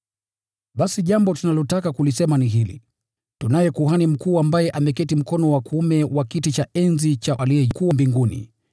Basi jambo tunalotaka kulisema ni hili: Tunaye Kuhani Mkuu ambaye ameketi mkono wa kuume wa kiti cha enzi cha Aliye Mkuu mbinguni,